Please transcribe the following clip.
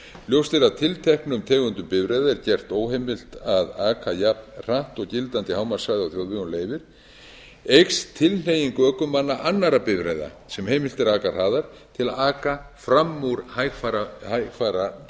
ljóst er að ef tilteknum tegundum bifreiða er gert óheimilt að aka jafnhratt og gildandi hámarkshraði á þjóðvegum leyfir eykst tilhneiging ökumanna annarra bifreiða sem heimilt er að aka hraðar til að aka fram úr hægfara bifreiðum þetta er